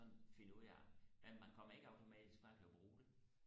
sådan finde ud af men man kommer ikke automatisk bare til og bruge det